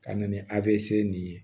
Ka na ni a bɛ se nin ye